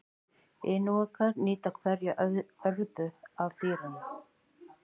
Inúkar nýta hverja örðu af dýrinu.